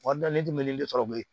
Wari ne tɛ mili sɔrɔ bilen